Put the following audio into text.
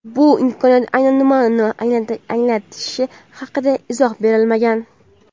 Bu imkoniyat aynan nimani anglatishi haqida izoh berilmagan.